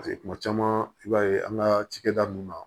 paseke kuma caman i b'a ye an ka cakɛda nunnu na